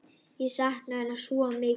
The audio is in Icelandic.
Ég sakna hennar svo mikið.